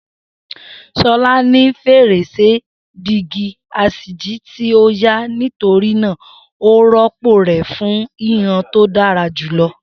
Shola ni ferese dígí aṣíji ti o ya, nitorina o rọpo rẹ fun hihan to dara julọ.